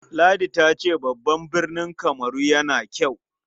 Ladi ta ce babban birni Kamaru yana kyau.